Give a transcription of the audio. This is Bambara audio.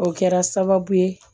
O kɛra sababu ye